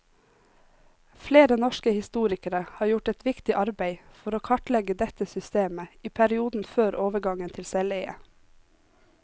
Flere norske historikere har gjort et viktig arbeid for å kartlegge dette systemet i perioden før overgangen til selveie.